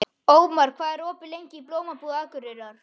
Ómar, hvað er opið lengi í Blómabúð Akureyrar?